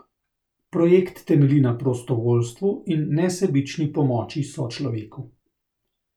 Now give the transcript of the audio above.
Projekt temelji na prostovoljstvu in nesebični pomoči sočloveku.